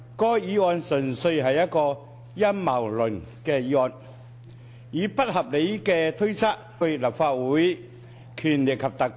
該項議案純粹是一項陰謀論的議案，以不合理的推測、懷疑為基礎，目的是攻擊特首。